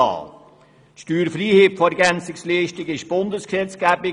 Die Steuerfreiheit von Ergänzungsleistungen ist Bundesgesetzgebung.